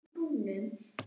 En það er erfitt.